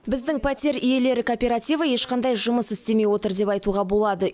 біздің пәтер иелері кооперативі ешқандай жұмыс істемей отыр деп айтуға болады